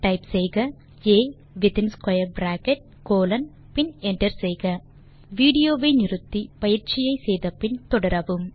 type செய்க ஆ within square bracket colon பின் என்டர் செய்க வீடியோ வை நிறுத்தி பயிற்சியை செய்து முடித்து பின் தொடரவும்